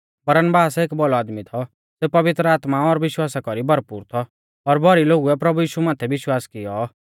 बरनबास एक भौलौ आदमी थौ सेऊ पवित्र आत्मा और विश्वासा कौरी भरपूर थौ ओर भौरी लोगुऐ प्रभु यीशु माथै विश्वास कियौ